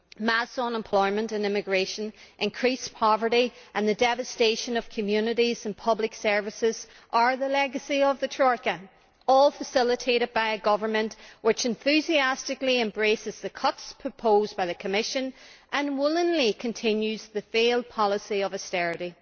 Mass unemployment and immigration, increased poverty and the devastation of communities and public services are the legacy of the Troika, all facilitated by a government which enthusiastically embraces the cuts proposed by the Commission and willingly continues the failed policy of austerity.